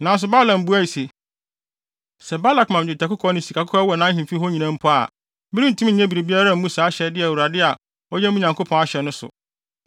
Nanso, Balaam buae se, “Sɛ Balak ma me dwetɛ ne sikakɔkɔɔ a ɛwɔ nʼahemfi hɔ nyinaa mpo a, merentumi nyɛ biribiara mmu saa ahyɛde a Awurade a ɔyɛ me Nyankopɔn no ahyɛ no so.